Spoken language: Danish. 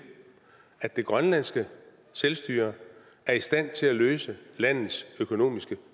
at det grønlandske selvstyre er i stand til at løse landets økonomiske